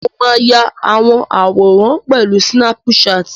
Mo máa ya àwọn àwòrán pẹ̀lú sínáp-saàtì